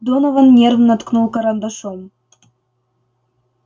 донован нервно ткнул карандашом